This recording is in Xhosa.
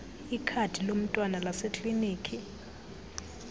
ikhadi lomntwana laseklinikhi